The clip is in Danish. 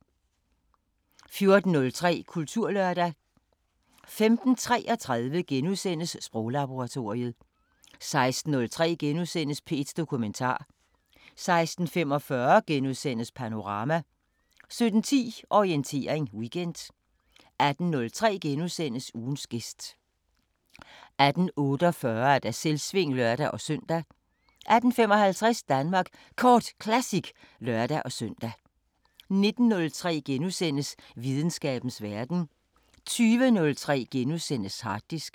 14:03: Kulturlørdag 15:33: Sproglaboratoriet * 16:03: P1 Dokumentar * 16:45: Panorama * 17:10: Orientering Weekend 18:03: Ugens gæst * 18:48: Selvsving (lør-søn) 18:55: Danmark Kort Classic (lør-søn) 19:03: Videnskabens Verden * 20:03: Harddisken *